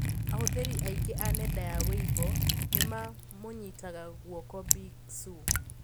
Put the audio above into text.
Ahuthiri aingi a nenda ya Weibo nimamunyitaga guoko Bi. Xu